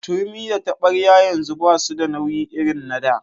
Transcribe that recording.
Turmi da taɓaryar yanzu basu da nauyi irin na da.